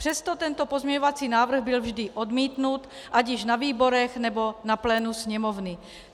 Přesto tento pozměňovací návrh byl vždy odmítnut ať již na výborech, nebo na plénu Sněmovny.